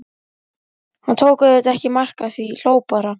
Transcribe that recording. Hann tók auðvitað ekki mark á því, hló bara.